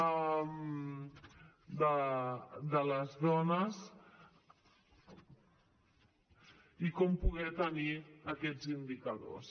de les dones i com poder tenir aquests indicadors